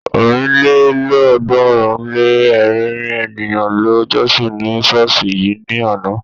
ọ̀rìnlélọ́ọ̀ọ́dúnrún-lé-ẹ̀rin ènìyàn ló jọ́sìn ní ṣọ́ọ̀ṣì yìí ní àná.